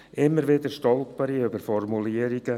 Immer wieder stolpere ich über Formulierungen.